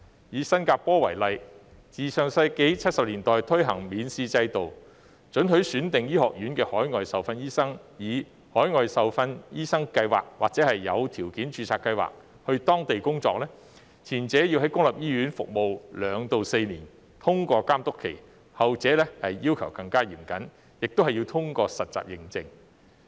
以新加坡為例，自上世紀70年代推行免試制度，准許選定醫學院的海外受訓醫生透過海外受訓醫生計劃或有條件註冊計劃，到當地工作，前者要在公立醫院服務2年至4年，並通過監督期；後者要求更嚴謹，亦要通過實習認證。